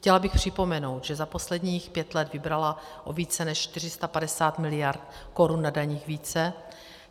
Chtěla bych připomenout, že za posledních pět let vybrala o více než 450 miliard korun na daních více.